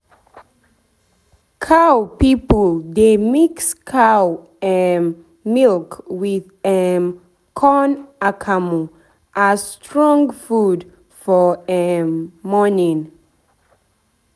cow people dey mix cow um milk with um corn akamu as strong food for um morning